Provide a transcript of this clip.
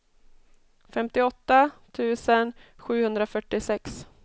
femtioåtta tusen sjuhundrafyrtiosex